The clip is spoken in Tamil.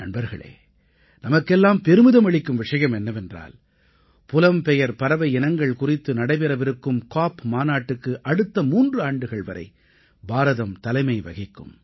நண்பர்களே நமக்கெல்லாம் பெருமிதம் அளிக்கும் விஷயம் என்னவென்றால் புலம்பெயர் பறவை இனங்கள் குறித்து நடைபெறவிருக்கும் காப் மாநாட்டுக்கு அடுத்த மூன்று ஆண்டுகள் வரை பாரதம் தலைமை வகிக்கும்